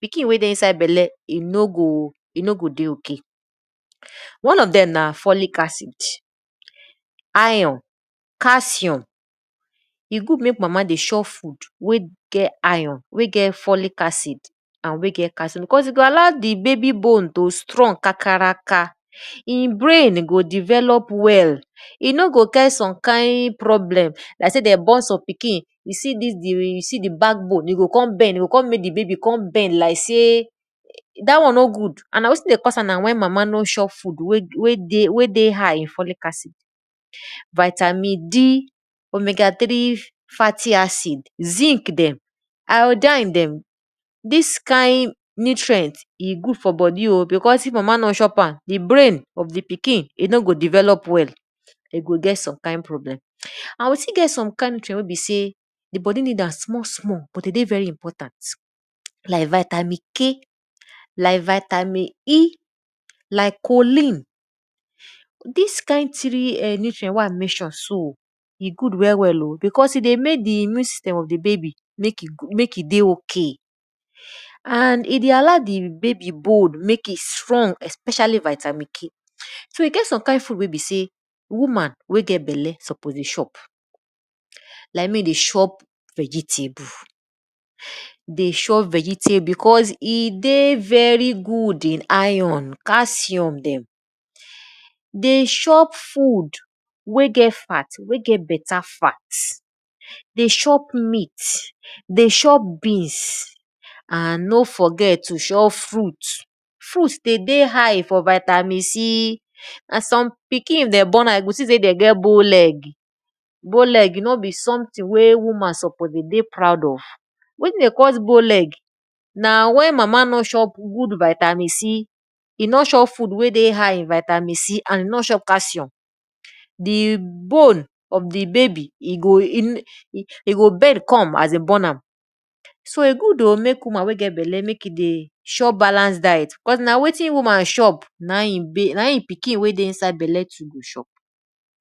pikin wey dey inside belle, e no go dey ok. One of dem na folic acid, iron, calcium, e good mek mama dey chop food wey get iron, wey get folic acid and wey get calcium cause e go allow di babi bone t strong kakaraka e brain go develop well, e no go get some kind problem, like sey dem born some pikin, you see dis you see di back bone, de go kon bend like sey. Dat one no good and na wetin dey cause am na di mama no chop foodwe dey high in folic acid. vitamin, zinc dem, iodine dem, dis kind nutrient, e good fr bodi o because if mama no chop am, di brain of di pikin no go develop well. And we still get some kind nutrient wen be sey di bodi need am small small but de dey very important like vitamin, like vitamin, like Collin. Dis kind three wey I mention so, e good well well o becaue e dey mek di immune system of di babi mek e dey ok and e dey allow di bai bold mek especially vitamin K. so in case of some kind food wey e sey woman wey get belle suppose dey chop like mek e dey chop vegetable because e dey very good in iron, calcuium dem, de chop food wey get fat, wey get beta fat, de chop meat, de chop beans, and no forget to chop fruit. Fruit de dey high for vitamin and some pikin dem bone, you see sey dem get bone leg. Bone leg no be something wen woman suppose de dey proud of. Wetin de call bone leg? Na wen mama no chop good vitamin C, e nor chop food wey dey high in vitamin C and e nor chop calcium. Di bone of di baby e g bend come as dem born am. So e good mek woman wey get belle mek e dey chop balance diet cause na wetin woman chop, na in e pikin wey dey inside belle too go chop.